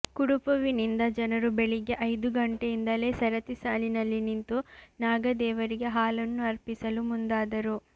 ಕುಡುಪುವಿನಿಂದ ಜನರು ಬೆಳಗ್ಗೆ ಐದು ಗಂಟೆಯಿಂದಲೇ ಸರತಿ ಸಾಲಿನಲ್ಲಿ ನಿಂತು ನಾಗದೇವರಿಗೆ ಹಾಲನ್ನು ಅರ್ಪಿಸಲು ಮುಂದಾದರು